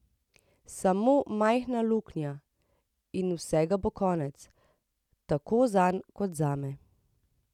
Samo majhna luknja, in vsega bo konec, tako zanj kot zame.